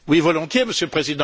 Monsieur le Président,